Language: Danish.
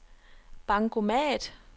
bankomat